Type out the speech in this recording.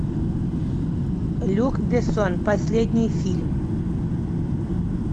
люк бессон последний фильм